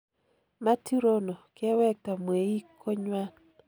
Mathew Rono kewekta mweik konywan